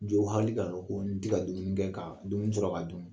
Jɔ hali ka ko n tɛ ka dumuni kɛ ka dumuni sɔrɔ ka dun